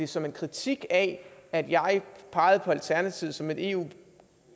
som en kritik af at jeg pegede på alternativet som et eu